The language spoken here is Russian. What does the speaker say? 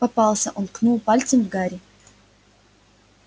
попался он ткнул пальцем в гарри